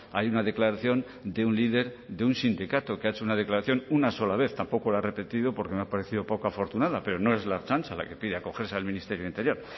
hay una declaración de un líder de un sindicato que ha hecho una declaración una sola vez tampoco lo ha repetido porque me ha parecido poco afortunada pero no es la ertzaintza la que pide acogerse al ministerio de interior